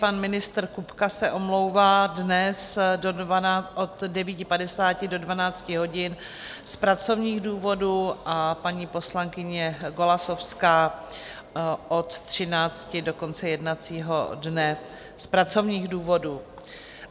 Pan ministr Kupka se omlouvá dnes od 9.50 do 12 hodin z pracovních důvodů a paní poslankyně Golasowská od 13.00 do konce jednacího dne z pracovních důvodů.